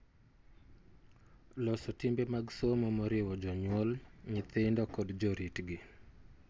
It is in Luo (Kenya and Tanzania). Loso timbe mag somo moriwo jonyuol, nyithindo kod joritgi